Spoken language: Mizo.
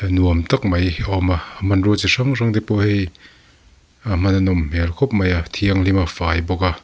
nuam tak mai a awm a hmanrua chi hrang hrang te pawh hei ah hman a nawm hmel khawp mai a a thianghlim a a fai bawk a.